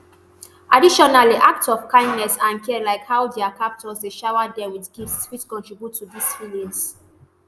additionally acts of kindness and care like how dia captors dey shower dem wit gifts fit contribute to dis feelings